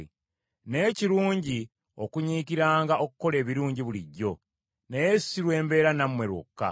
Naye kirungi okunyiikiranga okukola ebirungi bulijjo, naye si lwe mbeera nammwe lwokka.